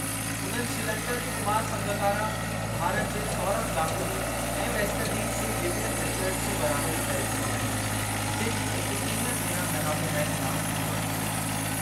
उन्हनि श्रीलंका जे कुमार संगकारा, भारत जे सौरभ गांगुली ऐं वेस्ट इंडीज जे विवियन रिचर्ड्स जी बराबरी करे छॾी आहे जिनि एकटीह भेरा मैन ऑफ द मैचु इनामु खटियो आहे।